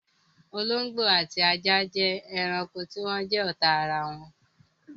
Olóngbó ati ajá jẹ́ ẹranko tí wọn jẹ́ ọ́ta arawọn.